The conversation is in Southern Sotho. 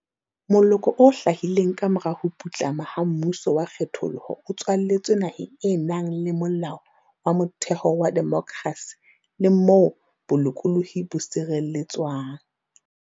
Moloko o hlahileng kamora ho putlama ha mmuso wa kgethollo o tswaletswe naheng e nang le Molao wa Motheo wa demokrasi le moo bolokolohi bo sireletswang.